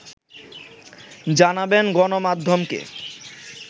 জানাবেন গণমাধ্যমকে